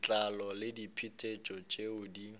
letlalo le diphetetšo tšeo di